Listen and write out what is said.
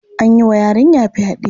An yi wa yarinya fyaɗe.